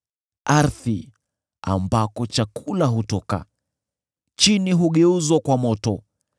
Ardhi, ambako chakula hutoka, chini hugeuzwa kwa moto;